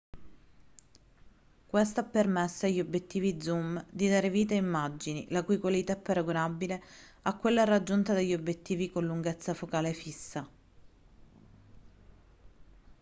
questo ha permesso agli obiettivi zoom di dare vita a immagini la cui qualità è paragonabile a quella raggiunta dagli obiettivi con lunghezza focale fissa